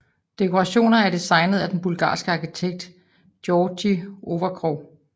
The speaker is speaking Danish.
Dekorationer er designet af den bulgarske arkitekt Georgi Ovcharov